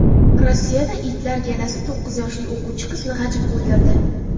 Rossiyada itlar galasi to‘qqiz yoshli o‘quvchi qizni g‘ajib o‘ldirdi.